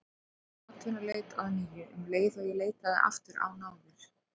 Ég hóf atvinnuleit að nýju um leið og ég leitaði aftur á náðir